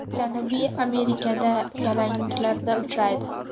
Janubiy Amerikada yalangliklarda uchraydi.